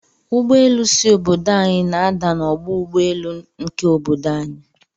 Ụgbọelu si obodo anyi na ada na ọgbọ ụgbọ elu nke obodo anyi.